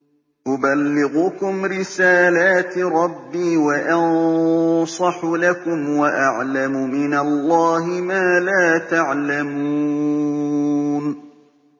أُبَلِّغُكُمْ رِسَالَاتِ رَبِّي وَأَنصَحُ لَكُمْ وَأَعْلَمُ مِنَ اللَّهِ مَا لَا تَعْلَمُونَ